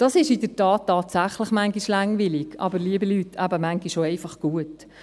In der Tat, dies ist manchmal tatsächlich langweilig, aber, liebe Leute, manchmal ist es eben auch einfach gut.